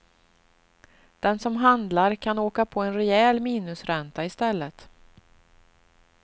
Den som handlar kan åka på en rejäl minusränta i stället.